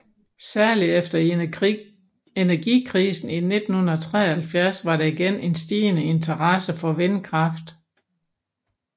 Særlig efter energikrisen i 1973 var der igen en stigende interesse for vindkraft